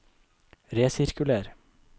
resirkuler